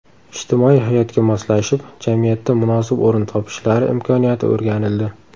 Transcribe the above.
Ijtimoiy hayotga moslashib, jamiyatda munosib o‘rin topishlari imkoniyati o‘rganildi.